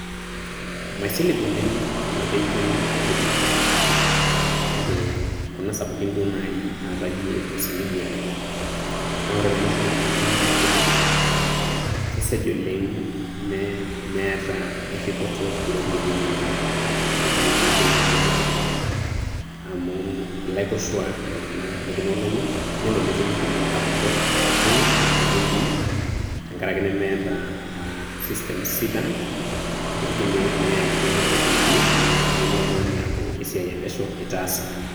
Maisilig oleng' kuna benkin kutitik, kake kuna sapukin duo naaji aatayie osiligi oleng'. Naa ore peemaisilig kuna benkii kutiti, kesej oleng' mee meeta erripoto ropiyiani inonok etii kuna benkii kutitik, amu ilaikoshuak iltung'anak lekuna olong'i nelo netumi kulie apurrok oogil inaduo benkin tenkarake nemeeta aah systems sidan, negili neyai inaduo ropiyiani nilo oltung'ani aaku esiai epesho itaasa.